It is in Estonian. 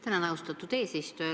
Tänan, austatud eesistuja!